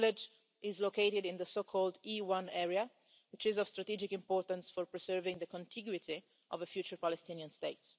The village is located in the so called E1' area, which is of strategic importance for preserving the contiguity of a future Palestinian state.